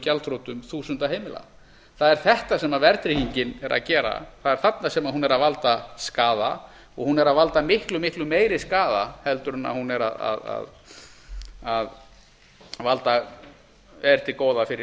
gjaldþrotum þúsunda heild það er þetta sem verðtryggingin er að gera það er þarna sem hún er að valda skaða og hún er að valda miklu miklu meiri skaða en er til góða